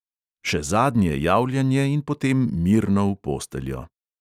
Še zadnje javljanje in potem mirno v posteljo.